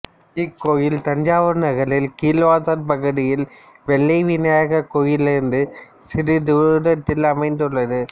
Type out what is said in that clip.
இக்கோயில் தஞ்சாவூர் நகரில் கீழவாசல் பகுதியில் வெள்ளை விநாயகர் கோயிலிலிருந்து சிறிது தூரத்தில் அமைந்துள்ளது